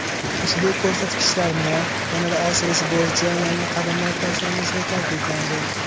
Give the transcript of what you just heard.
Ushbu ko‘rsatkichlarni yanada oshirish bo‘yicha yangi qadamlar tashlanishi ta’kidlandi.